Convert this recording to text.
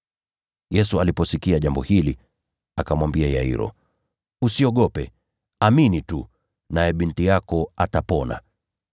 Yesu aliposikia jambo hili, akamwambia Yairo, “Usiogope. Amini tu, naye binti yako atapona.”